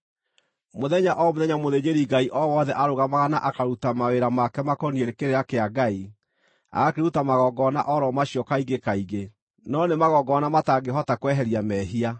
Mũthenya o mũthenya mũthĩnjĩri-Ngai o wothe arũgamaga na akaruta mawĩra make makoniĩ kĩrĩra kĩa Ngai, agakĩruta magongona o ro macio kaingĩ kaingĩ, no nĩ magongona matangĩhota kweheria mehia.